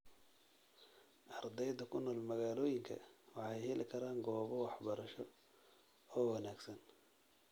Ardeyda ku nool magaalooyinka waxay heli karaan goobo waxbarasho oo wanaagsan.